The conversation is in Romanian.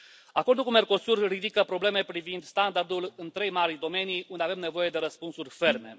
Acordul cu Mercosur ridică probleme privind standardul în trei mari domenii unde avem nevoie de răspunsuri ferme.